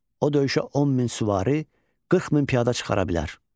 O döyüşə 10 min süvari, 40 min piyada çıxara bilər.